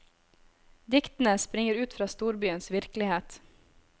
Diktene springer ut fra storbyens virkelighet.